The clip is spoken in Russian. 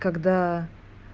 когда